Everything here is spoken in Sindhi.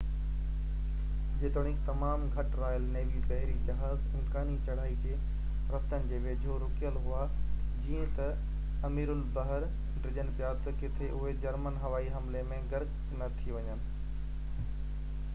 جيتوڻيڪ تمام گهٽ رائل نيوي بحري جهاز امڪاني چڙهائي جي رستن جي ويجهو رُڪيل هئا جئين ته اميرالبحر ڊڄن پيا ته ڪٿي اهي جرمن هوائي حملي ۾ غرق نه ٿي وڃن